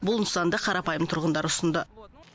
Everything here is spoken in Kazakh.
бұл нысанды қарапайым тұрғындар ұсынды